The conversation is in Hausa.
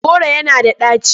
Kolanut is bitter.